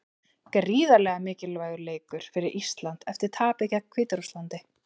Gríðarlega mikilvægur leikur fyrir Ísland eftir tapið gegn Hvíta-Rússlandi.